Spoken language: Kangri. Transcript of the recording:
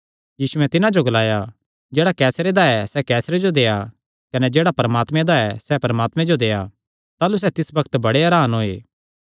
यीशुयैं तिन्हां जो ग्लाया जेह्ड़ा कैसरे दा ऐ सैह़ कैसर जो देआ कने जेह्ड़ा परमात्मे दा ऐ परमात्मे जो देआ ताह़लू सैह़ तिस पर बड़े हरान होये